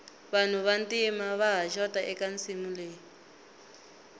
vanhu va ntima vaha xota eka nsimu leyi